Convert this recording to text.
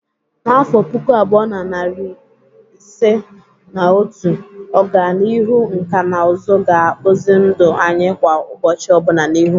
N'afọ puku abuo na iri ise na otu, ọganihu nkà na ụzụ ga-akpụzi ndụ anyị kwa ụbọchị ọbụna n'ihu.